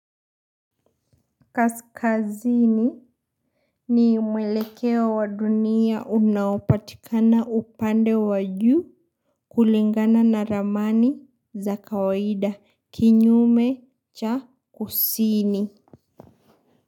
Kaskazini, ni mwelekeo wa dunia unaopatikana upande wa juu, kulingana na ramani, za kawaida. Kinyume, cha, kusini.